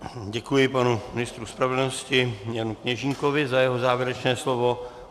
Děkuji panu ministru spravedlnosti Janu Kněžínkovi za jeho závěrečné slovo.